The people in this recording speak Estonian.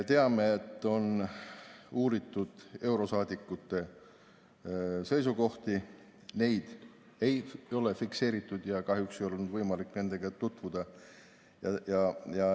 Teame, et on uuritud eurosaadikute seisukohti, neid ei ole fikseeritud ja kahjuks ei ole olnud võimalik nendega tutvuda.